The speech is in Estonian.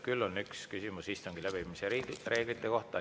Küll on üks küsimus istungi läbiviimise reeglite kohta.